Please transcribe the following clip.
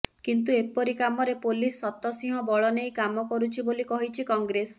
କିନ୍ତୁ ଏପରି କାମରେ ପୋଲିସ ଶତ ସିଂହ ବଳ ନେଇ କାମ କରୁଛି ବୋଲି କହିଛି କଂଗ୍ରେସ